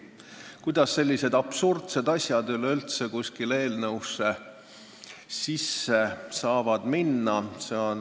Kuidas sellised absurdsed asjad üleüldse kuskile eelnõusse sisse saavad minna?!